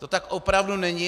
To tak opravdu není.